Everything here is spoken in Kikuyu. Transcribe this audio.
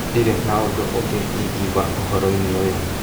Ndirĩ na ũndũ ũngĩ ingiuga ũhoro-inĩ ũyu.